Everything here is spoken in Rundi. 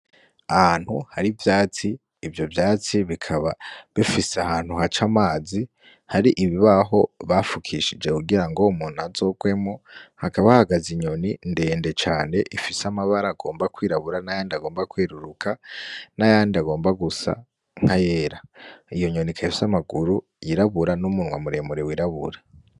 Ahantu hari ivyatsi, ivyo vyatsi bikaba bifise ahantu haca amazi hari ibibaho bafukishije kugira ngo umuntu ntazogwemwo, hakaba hahagaze inyoni ndende cane ifise amabara agomba kwirabura, n'ayandi agomba kweruruka, n'ayandi agomba gusa nk'ayera, iyo nyoni ikaba ifise amaguru yirabura n'umunwa muremure wirabura.